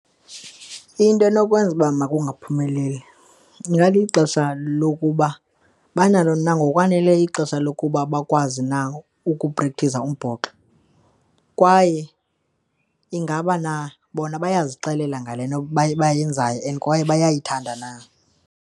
Into enokwenza uba makungaphumeleli ingalixesha lokuba banalo na ngokwanele ixesha lokuba bakwazi na ukuprekthiza umbhoxo kwaye ingaba na bona bayazixelela ngale nto bayenzayo and kwaye bayayithanda na.